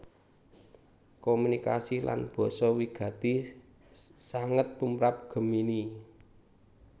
Komunikasi lan basa wigati sanget tumrap Gemini